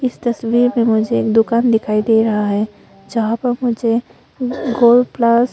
इस तस्वीर में मुझे एक दुकान दिखाई दे रहा है जहां पर मुझे गोल्ड प्लस --